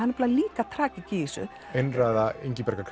nefnilega líka tragík í þessu einræða Ingibjargar